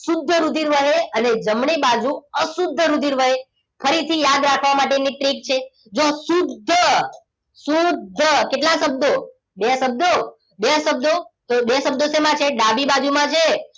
શુદ્ધ રુધિર વહે અને જમણી બાજુ અશુદ્ધ રુધિર વહે ફરીથી યાદ રાખવા માટે ની trick છે જુઓ શુદ્ધ શુદ્ધ કેટલા શબ્દો બે શબ્દો બે શબ્દો તો બે શબ્દો સેમા છે ડાબી બાજુમાં છે